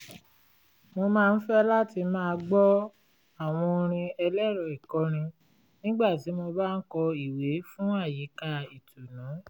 mo máa ń fẹ́ láti máa gbọ́ àwọn orin ẹlẹ́rọ-ìkọrin nígbà tí mo bá ń kọ ìwé fún àyíká ìtùnú